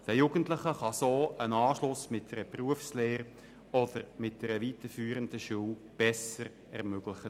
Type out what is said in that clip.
Den Jugendlichen kann auf diese Weise der Anschluss mit einer Berufslehre oder einer weiterführenden Schule besser ermöglicht werden.